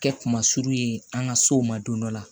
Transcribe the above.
Kɛ kuma suru ye an ka sow ma don dɔ la